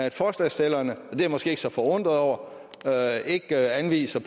at forslagsstillerne og det jeg måske ikke så forundret over ikke anviser